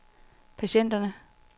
patienterne